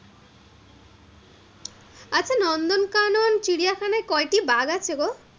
কোন চিড়িয়াখানায় কয়টি বাঘ আছে গো?